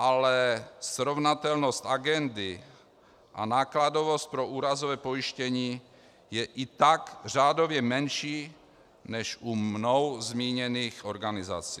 Ale srovnatelnost agendy a nákladovost pro úrazové pojištění je i tak řádově menší než u mnou zmíněných organizací.